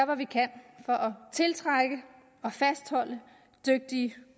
hvad vi kan for tiltrække og fastholde dygtige